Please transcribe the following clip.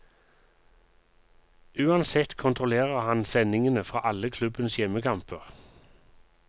Uansett kontrollerer han sendingene fra alle klubbens hjemmekamper.